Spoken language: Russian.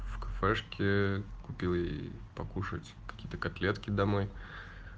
в кафешке купил ей покушать какие-то котлетки домой